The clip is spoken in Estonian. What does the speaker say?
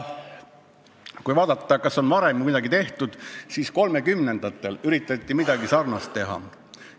Kui vaadata, kas ka varem on midagi tehtud, siis 30-ndatel üritati midagi sarnast teha.